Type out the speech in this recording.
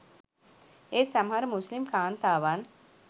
ඒත් සමහර මුස්‌ලිම් කාන්තාවන්